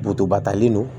batalen don